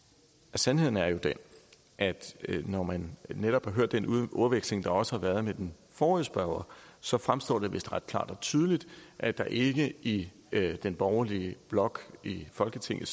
sandheden er jo den at når man netop har hørt den ordveksling der også har været med den forrige spørger så fremstår det vist ret klart og tydeligt at der ikke i den borgerlige blok i folketinget